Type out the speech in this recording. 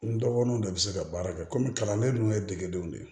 N dɔgɔnin de bɛ se ka baara kɛ komi kalanden ninnu ye degedenw de ye